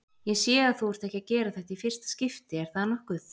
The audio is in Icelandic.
Ég sé að þú ert ekki að gera þetta í fyrsta skipti, er það nokkuð?